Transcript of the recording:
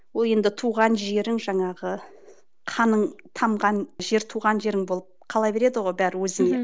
ол енді туған жерің жаңағы қаның тамған жер туған жерің болып қала береді ғой бәрі өзіңе